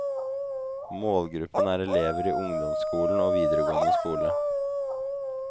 Målgruppen er elever i ungdomsskolen og videregående skole.